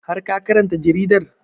Har ka karanta jaridar?